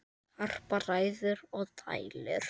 Harpa ræður og dælir.